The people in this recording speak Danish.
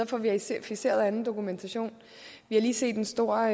få verificeret anden dokumentation vi har lige set en stor